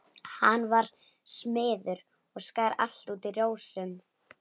Hann var smiður og skar allt út í rósum.